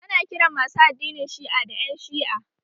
Ana kiran masu addinin Shi'a da ƴan Shi'a